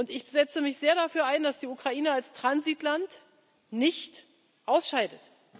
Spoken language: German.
Ich setze mich sehr dafür ein, dass die Ukraine als Transitland nicht ausscheidet.